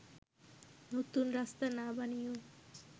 নতুন রাস্তা না বানিয়েও